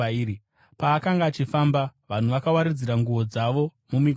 Paakanga achifamba, vanhu vakawaridzira nguo dzavo mumigwagwa.